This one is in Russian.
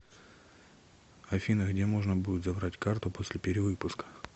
афина где можно будет забрать карту после перевыпуска